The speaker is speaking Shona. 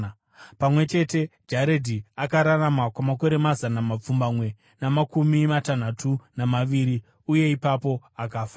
Pamwe chete, Jaredhi akararama kwamakore mazana mapfumbamwe namakumi matanhatu namaviri, uye ipapo akafa.